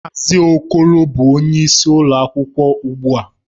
Mazị Okoro bụ onyeisi ụlọ akwụkwọ ugbu a.